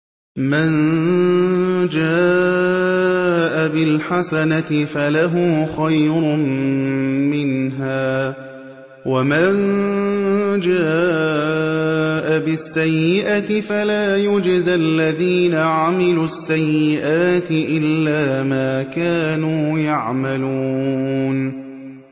مَن جَاءَ بِالْحَسَنَةِ فَلَهُ خَيْرٌ مِّنْهَا ۖ وَمَن جَاءَ بِالسَّيِّئَةِ فَلَا يُجْزَى الَّذِينَ عَمِلُوا السَّيِّئَاتِ إِلَّا مَا كَانُوا يَعْمَلُونَ